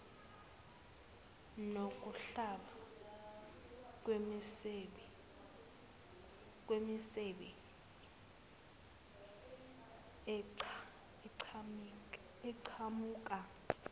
nokuhlaba kwemisebe eqhamuka